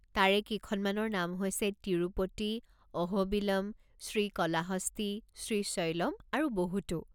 তাৰে কেইখনমানৰ নাম হৈছে- তিৰুপতি, অহোবিলম, শ্ৰীকলাহস্তী, শ্ৰীশৈলম আৰু বহুতো।